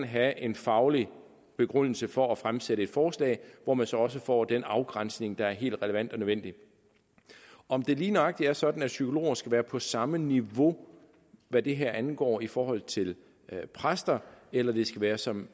have en faglig begrundelse for at fremsætte et forslag hvor man så også får den afgrænsning der er helt relevant og nødvendig om det lige nøjagtig er sådan at psykologer skal være på samme niveau hvad det her angår i forhold til præster eller det skal være som